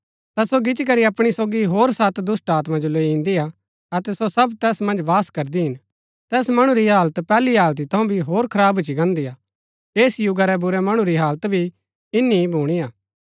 ता सो गिच्ची करी अपणी सोगी होर सत दुष्‍टात्मा जो लैई इन्दीआ अतै सो सब तैस मन्ज वास करदी हिन तैस मणु री हालत पैहली हालति थऊँ भी होर खराब भूच्ची गान्दी हा ऐस युगा रै बुरै मणु री हालत भी इन्‍नी ही भुणीआ